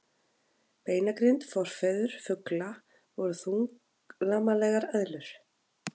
Beinagrind Forfeður fugla voru þunglamalegar eðlur.